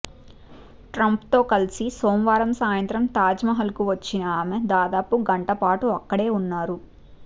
ట్రంప్తో కలిసి సోమవారం సాయంత్రం తాజ్మహల్కు వచ్చిన ఆమె దాదాపు గంటపాటు అక్కడే ఉన్నారు